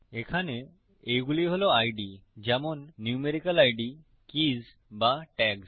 এখানে এইগুলি হল আইডি যেমন নিউমেরিক্যাল সংখ্যাসূচক আইডি কীজ বা ট্যাগ্স